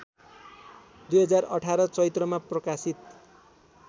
२०१८ चैत्रमा प्रकाशित